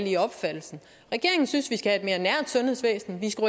i opfattelsen regeringen synes vi skal have et mere nært sundhedsvæsen vi skal